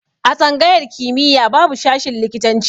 A tsangayar kimiya babu shashin likitan ci